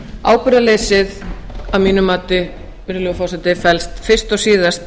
ábyrgðarleysið að mínu mati virðulegi forseti felst fyrst og síðast